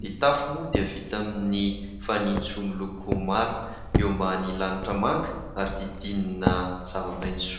ny tafo moa dia vita amin'ny fanitso miloko mara eo ambany lanitra manga ary didinina zavamaintso.